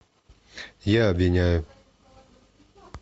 я обвиняю